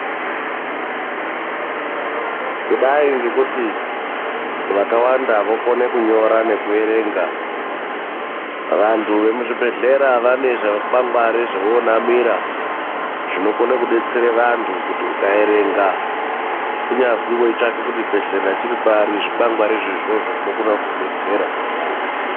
Kudai ngekuti vakawanda vokona kunyora nekuerenga vantu vemuzvibhedhlera vane zvikwagwari zvovonamira zvinokone kubetsere vantu kuti ukaerenga kunyazi weitsvake kuti chibhedhlera chiri pari zviikwangwarizvo izvozvo zvinogone kukubetsera.